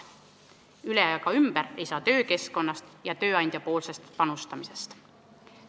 Üle ega ümber ei saa töökeskkonnast ja tööandja panustamisest.